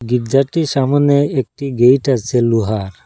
গির্জাটির সামোনে একটি গেট আসে লোহার।